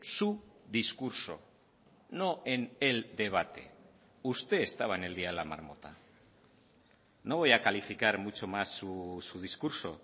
su discurso no en el debate usted estaba en el día de la marmota no voy a calificar mucho más su discurso